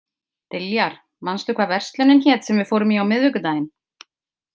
Diljar, manstu hvað verslunin hét sem við fórum í á miðvikudaginn?